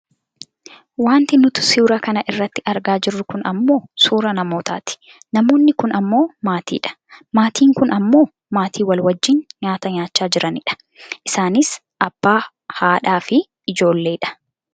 Wanti nuti suuraa kana irratti argaa jirru kun ammoo suuraa namootati. Namoonni kun ammoo maatiidha. Maatiin kun ammoo maatii wal wajjiin nyaata nyaachaa jirani dha. Isaanis abbaa haadhafi ijoollee dha.